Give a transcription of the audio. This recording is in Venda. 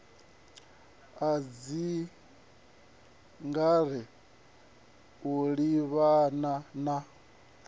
ha dzikhare u livhana na